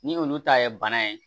Ni olu ta ye bana ye